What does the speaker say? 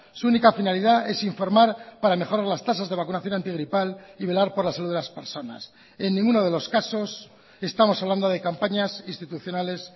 su única finalidad es informar para mejorar las tasas de vacunación antigripal y velar por la salud de las personas en ninguno de los casos estamos hablando de campañas institucionales